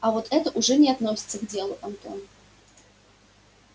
а вот это уже не относится к делу антон